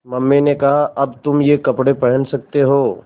mummy ने कहा अब तुम ये कपड़े पहन सकते हो